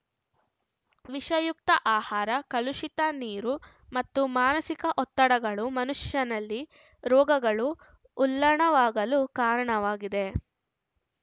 ವಿಷಯುಕ್ತ ಆಹಾರ ಕಲುಷಿತ ನೀರು ಮತ್ತು ಮಾನಸಿಕ ಒತ್ತಡಗಳು ಮನುಷ್ಯನಲ್ಲಿ ರೋಗಗಳು ಉಲ್ಲಣವಾಗಲು ಕಾರಣವಾಗಿದೆ